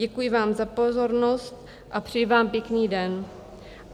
Děkuji vám za pozornost a přeji vám pěkný den."